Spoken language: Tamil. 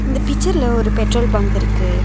இந்த பிச்சர்ல ஒரு பெட்ரோல் பங்க் இருக்கு.